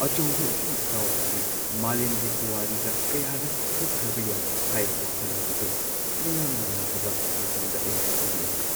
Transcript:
ꯑꯆꯧꯕ ꯏꯁꯤꯡ ꯏꯆꯥꯎ ꯑꯁꯤ ꯃꯥꯂꯦꯝꯒꯤ ꯄꯨꯋꯥꯔꯤꯗ ꯀꯌꯥꯔꯛ ꯊꯣꯛꯈ꯭ꯔꯕ ꯌꯥꯏ ꯍꯥꯏꯕ ꯋꯥꯈꯜꯂꯣꯟ ꯑꯗꯨ ꯃꯤꯌꯥꯝꯅ ꯌꯥꯗꯕ ꯃꯇꯝꯗ ꯑꯩ ꯅꯨꯡꯉꯥꯏꯈꯤꯗꯦ ꯫